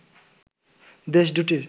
দেশ দু’টির